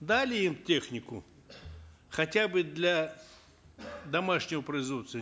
дали им технику хотя бы для домашнего производства